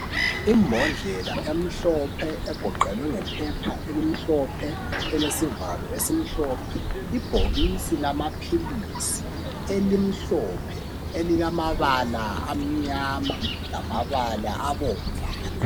Imbodlela emhlophe egoqelwe ngephepha elimhlophe elesivalo esimhlophe ibhokisi lamaphilizi elimhlophe elilamabala amnyama lamabala abomvana.